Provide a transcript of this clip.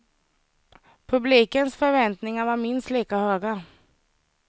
Publikens förväntningar var minst lika höga.